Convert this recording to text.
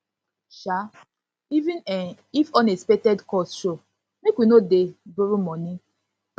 um even um if unexpected cost show make we no dey borrow money